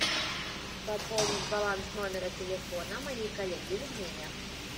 пополнить баланс номера телефона моей коллеге людмиле